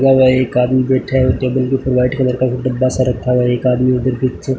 खुला हुआ एक आदमी बैठा है टेबल के उपर व्हाइट कलर का एक डब्बा सा रखा हुआ है एक आदमी उधर कुछ--